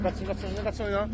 Qaçırma, qaçırma, qaçırma yox.